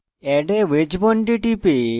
add a wedge bond a টিপে